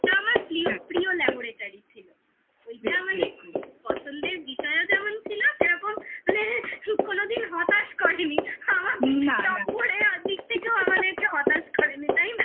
ওটা আমার প্রিয় laboratory ছিল ওইটা মানে খুব পছন্দের বিষয়ও যেমন ছিল সেরকম কোনোদিন হতাশ করেনি তাই না? noise